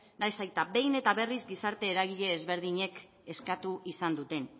nahiz eta behin eta berriz gizarte eragile ezberdinek eskatu izan duten